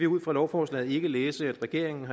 ud fra lovforslaget læse at regeringen